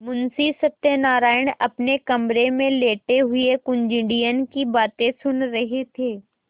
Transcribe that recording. मुंशी सत्यनारायण अपने कमरे में लेटे हुए कुंजड़िन की बातें सुन रहे थे